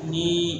Ni